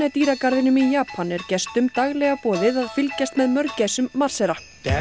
dýragarðinum í Japan er gestum daglega boðið að fylgjast með mörgæsum marsera